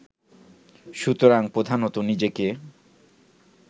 সুতরাং প্রধানত নিজেকে